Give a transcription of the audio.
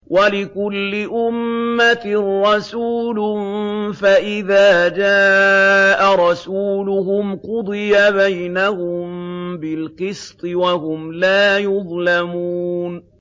وَلِكُلِّ أُمَّةٍ رَّسُولٌ ۖ فَإِذَا جَاءَ رَسُولُهُمْ قُضِيَ بَيْنَهُم بِالْقِسْطِ وَهُمْ لَا يُظْلَمُونَ